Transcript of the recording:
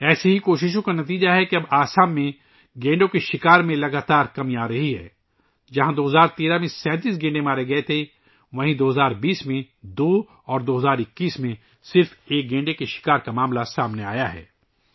ان کوششوں کا نتیجہ ہے کہ اب آسام میں گینڈوں کے شکار میں تیزی سے کمی آئی ہے ، جب کہ 2013 ء میں ، جہاں 37 گینڈے ہلاک کئے گئے تھے ، 2020 ء میں صرف 2 ہلاکتیں ہوئی ہیں اور 2021 ء میں صرف ایک معاملہ سامنے آیا ہے